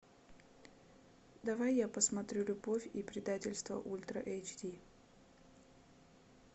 давай я посмотрю любовь и предательство ультра эйч ди